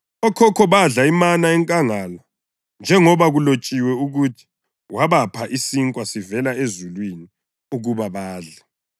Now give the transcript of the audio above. Okhokho badla imana enkangala; njengoba kulotshiwe ukuthi: ‘Wabapha isinkwa sivela ezulwini ukuba badle.’ + 6.31 U-Eksodasi 16.4; UNehemiya 9.15; AmaHubo 78.24-25”